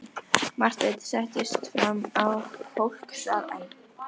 Marteinn settist fram á, fólk svaf enn.